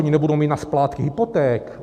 Oni nebudou mít na splátky hypoték.